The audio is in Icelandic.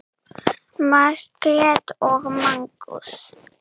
Margrét og Magnús.